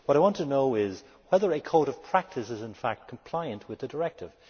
What I want to know is whether a code of practice is in fact compliant with the directive.